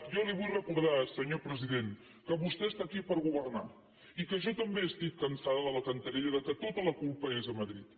jo li vull recordar senyor president que vostè està aquí per governar i jo també estic cansada de la cantarella que tota la culpa és de madrid